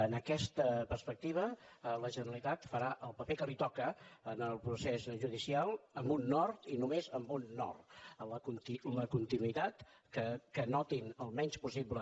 en aquesta perspectiva la generalitat farà el paper que li toca en el procés judicial amb un nord i només amb un nord la continuïtat que notin el menys possible